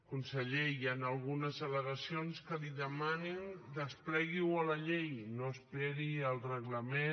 conseller hi han algunes al·legacions que li demanen desplegui ho a la llei no s’esperi al reglament